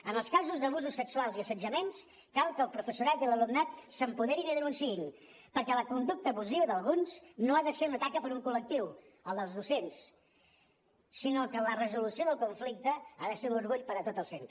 en els casos d’abusos sexuals i assetjaments cal que el professorat i l’alumnat s’apoderin i denunciïn perquè la conducta abusiva d’alguns no ha de ser una taca per a un col·lectiu el dels docents sinó que la resolució del conflicte ha de ser un orgull per a tot el centre